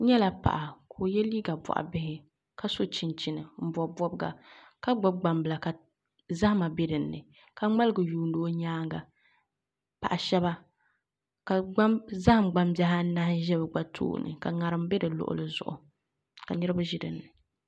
N nyɛla paɣa ka o yɛ liiga boɣa bihi ka so chinchin n bob bobga ka gbubi gbambila ka zahama bɛ dinni ka ŋmaligi yuundi o nyaanga paɣa shaba ka zaham gbambihi anahi ʒɛ bi gba tooni ka ŋarim bɛ bi luɣuli zuɣu ka niraba ʒi dinni